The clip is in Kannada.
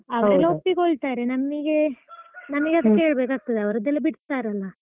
ಒಪ್ಪಿಕೊಳ್ತಾರೆ ನಮ್ಗೆ ಮನೆಗೆಸ ಕೇಳ್ಬೇಕಾಗ್ತದಲ್ಲ ಅವರಿಗೆಲ್ಲ ಬಿಡ್ತಾರಲ್ಲ.